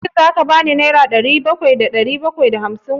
Shin za ka ba ni nera dubu ɗaya da ɗari bakwai da arba'in gobe?